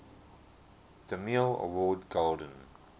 demille award golden